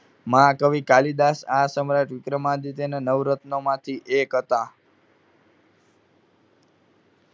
મહાકવિ કાલિદાસ આ સમયે જ વિક્રમાદિત્યના નવરત્નમાંથી એક હતા.